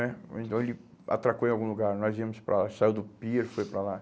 né então ele atracou em algum lugar, nós íamos para lá, saiu do pier, foi para lá.